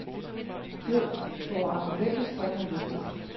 Jo, vore argumenter springer lystigt.